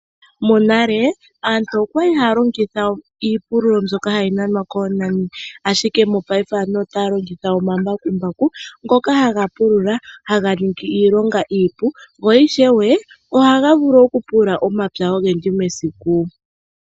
Monale aantu oyali haya longitha iipululo mbyoka hayi nanwa koonani ashike mopaife aantu otaya longitha omambakumbaku ngoka haga pulula, haga ningi iilonga iipu, go ishewe ohaga vulu oku pulula omapya ogendji mesiku.